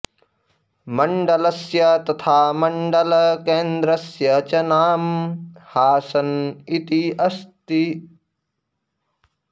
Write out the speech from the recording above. मण्डलस्य तथा मण्डलकेन्द्रस्य च नाम हासन इति अस्ति